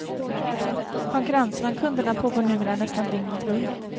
Konkurrensen om kunderna pågår numera nästan dygnet runt.